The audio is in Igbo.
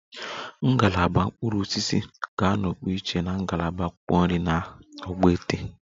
Ngalaba mkpụrụ osisi ga-anọpụ iche na ngalaba akwụkwọ nri na ogbete